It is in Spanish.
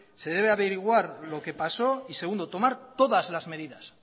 se debe averiguar lo que pasó y segundo tomar todas las medidas